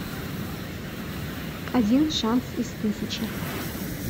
один шанс из тысячи